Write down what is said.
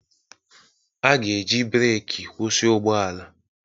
A ga-eji breeki kwụsị ụgbọ ala